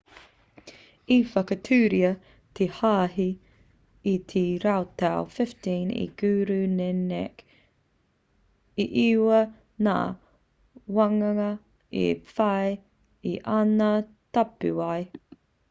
i whakatūria te hāhi i te rautau 15 e guru nanak 1469-1539. e iwa ngā wānanga i whai i ana tapuwae